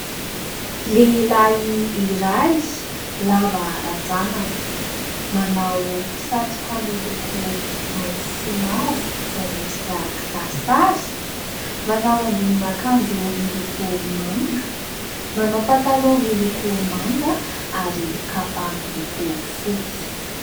Lehilahy iray lava ranjanana manao satroka miloko mainty sy mavo izay miendrika kisarisary. Manao ambonina akanjo miloko manga, manao pataloha miloko manga ary kapa miloko fotsy.